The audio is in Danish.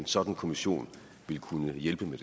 sådan kommission ville kunne hjælpe med